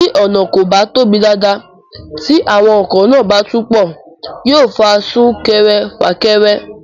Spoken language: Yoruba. Tí ọ̀nà kò bá tóbi dáadáa tí àwọn ọkọ̀ náà bá tún pọ̀, yóò fa súnkẹrẹ fàkẹrẹ